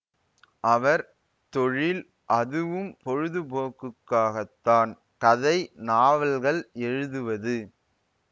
அவர் தொழில் அதுவும் பொழுதுபோக்குக்காகத்தான் கதை நாவல்கள் எழுதுவது